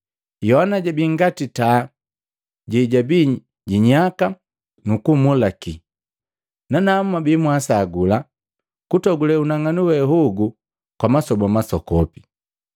Yohana jabii ngati taa jejabi jinyaka nukumulika, nanamu mwabi mwasagula kutogule unang'anu we hogu kwa masoba masokopi.